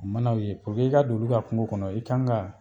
A ma u ye puruke i ka don olu ka kungo kɔnɔ i kanga